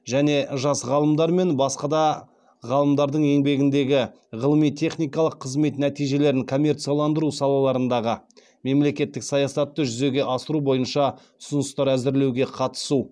және жас ғалымдар мен басқа да ғалымдардың еңбегіндегі ғылыми техникалық қызмет нәтижелерін коммерцияландыру салаларындағы мемлекеттік саясатты жүзеге асыру бойынша ұсыныстар әзірлеуге қатысу